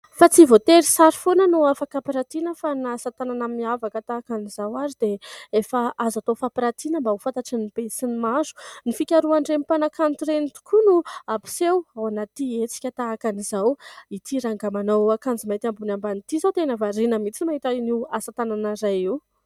Fa tsy voatery sary foana no afaka hampiratiana fa na asa tanana miavaka tahaka an'izao ary dia efa aza tao fampiratiana mba ho fantatry ny be sy ny maro. Ny fikarohan'ireny mpanakanto ireny tokoa no hampiseho ao anaty hetsika tahaka any izao. Ity rangahy manao akanjo mainty ambony ambany ity izao tena variana mihitsy mahita anio asa tanana iray io.